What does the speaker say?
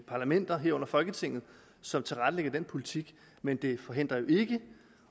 parlamenter herunder folketinget som tilrettelægger den politik men det forhindrer jo ikke